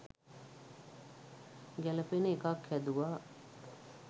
ගැළපෙන එකක් හැදුවා